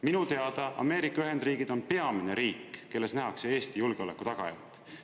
Minu teada Ameerika Ühendriigid on peamine riik, kelles nähakse Eesti julgeoleku tagajat.